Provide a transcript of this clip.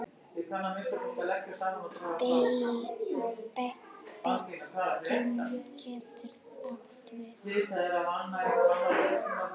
Beyging getur átt við